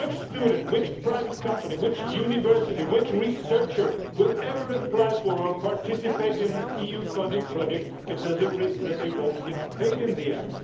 What student, what private company, what university, what researcher will ever apply for, or participate in, an EU funded project if there is a risk that they will not get paid at the end?